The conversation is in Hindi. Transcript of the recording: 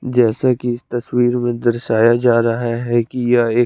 जैसे कि इस तस्वीर में दर्शाया जा रहा है कि यह एक--